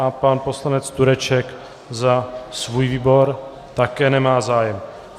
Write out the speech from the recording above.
A pan poslanec Tureček za svůj výbor - také nemá zájem.